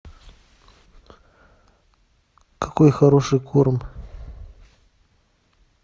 какой хороший корм